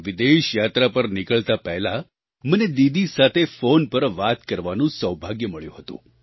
વિદેશ યાત્રા પર નીકળતા પહેલાં મને દીદી સાથે ફોન પર વાત કરવાનું સૌભાગ્ય મળ્યું હતું